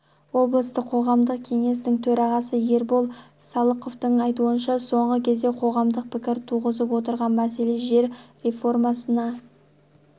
облыстық қоғамдық кеңестің төрағасы ербол салықовтың айтуынша соңғы кезде қоғамдық пікір туғызып отырған мәселе жер реформасына